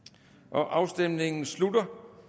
afstemningen slutter